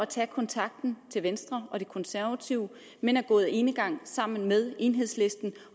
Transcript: tage kontakt til venstre og de konservative men er gået enegang sammen med enhedslisten